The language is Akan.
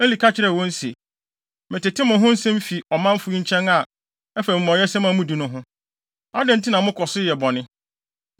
Eli ka kyerɛɛ wɔn se, “Metete mo ho nsɛm fi ɔmanfo nkyɛn a ɛfa amumɔyɛsɛm a mudi no ho. Adɛn nti na mokɔ so yɛ bɔne?